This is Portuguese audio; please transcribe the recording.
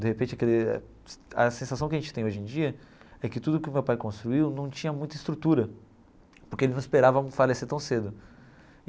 De repente aquele, a sensação que a gente tem hoje em dia é que tudo que o meu pai construiu não tinha muita estrutura, porque ele não esperava falecer tão cedo.